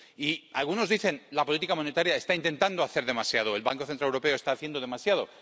Y algunos dicen la política monetaria está intentando hacer demasiado, el Banco Central Europeo está haciendo demasiado.